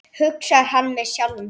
hugsar hann með sjálfum sér.